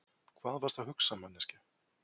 Hvað varstu að hugsa, manneskja?